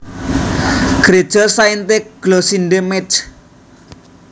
Gréja Sainte Glossinde Métz